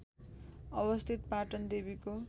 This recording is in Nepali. अवस्थित पाटन देवीको